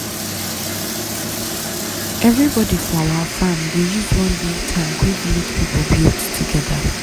everybody for our farm dey use one big tank wey village people build together.